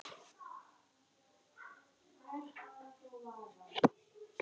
Ég henti tveimur spöðum.